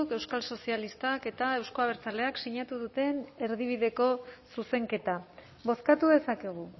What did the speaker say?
euskal sozialistak eta euzko abertzaleak sinatu duten erdibideko zuzenketa bozkatu dezakegu